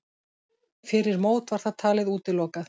Fyrir mót var það talið útilokað.